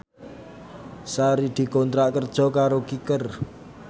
Sari dikontrak kerja karo Kicker